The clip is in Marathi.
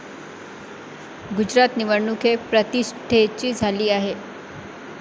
गुजरात निवडणूक ही प्रतिष्ठेची झाली आहे.